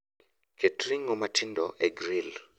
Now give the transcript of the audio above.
Ket ring'o matindo e gril